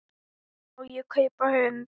Má ég kaupa hund?